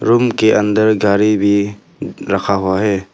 Room के अंदर गाड़ी भी रखा हुआ है।